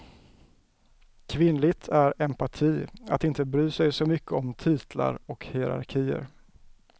Kvinnligt är empati, att inte bry sig så mycket om titlar och hierarkier.